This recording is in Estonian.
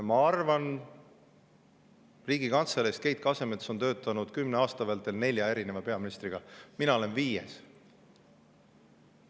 Keit Kasemets on Riigikantseleis töötanud kümne aasta vältel nelja peaministriga, mina olen viies.